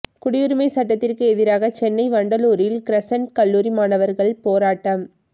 குடியுரிமை சட்டத்திற்கு எதிராக சென்னை வண்டலூரில் கிரசண்ட் கல்லூரி மாணவர்கள் போராட்டம்